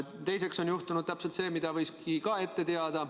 Teiseks on juhtunud see, mida ka võis ette teada.